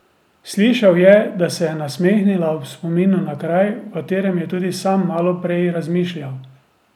Slišal je, da se je nasmehnila ob spominu na kraj, o katerem je tudi sam malo prej razmišljal.